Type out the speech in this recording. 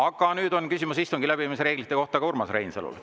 Aga nüüd on küsimus istungi läbiviimise reeglite kohta ka Urmas Reinsalul.